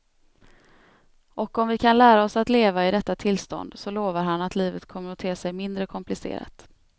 Och om vi kan lära oss att leva i detta tillstånd så lovar han att livet kommer att te sig mindre komplicerat.